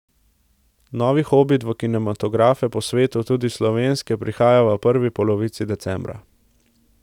Novi Hobit v kinematografe po svetu, tudi slovenske, prihaja v prvi polovici decembra.